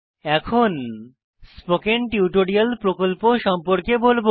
এখন spoken tutorial প্রকল্প সম্পর্কে বলবো